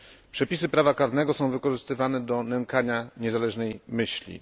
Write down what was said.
Przepisy prawa karnego są wykorzystywane do nękania niezależnej myśli.